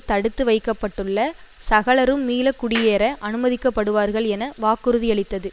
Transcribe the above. தடுத்து வைக்க பட்டுள்ள சகலரும் மீள குடியேற அனுமதிக்கப்படுவார்கள் என வாக்குறுதியளித்தது